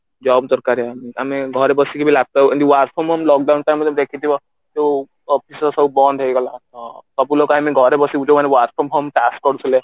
job ଦରକାରେ ଆମେ ଘରେ ବସିକି ବି laptop ଯେମତି work from home lockdown time ରେ ତମେ ତ ଦେଖିଥିବ ଯୋଉ office ଫଫିସ ସବୁ ବନ୍ଦ ହେଇଗଲା ଅ ସବୁ ଲୋକ I mean ଘରେ ବସି ଯୋଉ ମାନେ work from home task କରୁଥିଲେ